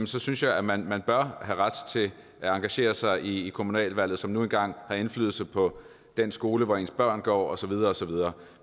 så synes jeg at man man bør have ret til at engagere sig i kommunalvalget som nu engang har indflydelse på den skole hvor ens børn går og så videre og så videre